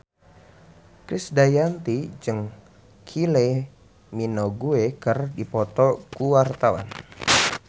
Krisdayanti jeung Kylie Minogue keur dipoto ku wartawan